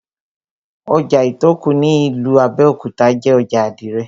Ojà Ìtòkù ní ìlú Abẹ́òkúta jé ojà àdìrẹ̀